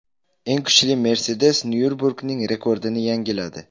Eng kuchli Mercedes Nyurburgring rekordini yangiladi.